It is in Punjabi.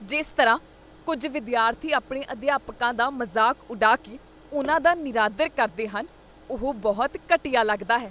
ਜਿਸ ਤਰ੍ਹਾਂ ਕੁੱਝ ਵਿਦਿਆਰਥੀ ਆਪਣੇ ਅਧਿਆਪਕਾਂ ਦਾ ਮਜ਼ਾਕ ਉਡਾ ਕੇ ਉਨ੍ਹਾਂ ਦਾ ਨਿਰਾਦਰ ਕਰਦੇ ਹਨ, ਉਹ ਬਹੁਤ ਘਟੀਆ ਲੱਗਦਾ ਹੈ।